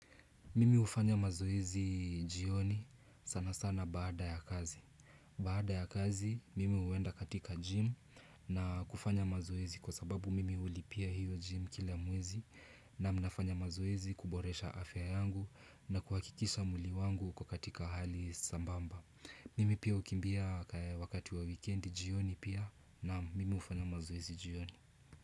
Mimi hufanya mazoezi jioni sana sana baada ya kazi. Baada ya kazi, mimi huenda katika gym na kufanya mazoezi kwa sababu mimi hulipia hiyo gym kila mwezi naam nafanya mazoezi kuboresha afya yangu na kuhakikisha mwili wangu uko katika hali sambamba. Mimi pia ukimbia wakati wa weekend jioni pia naam mimi ufanya mazoezi jioni.